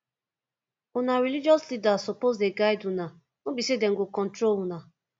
una religious leaders suppose dey guide una no be sey dem go control una